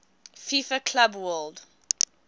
fifa club world